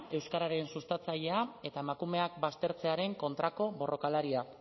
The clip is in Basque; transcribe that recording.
euskararen sustatzailea eta emakumeak baztertzearen kontrako borrokalaria